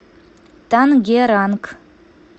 тангеранг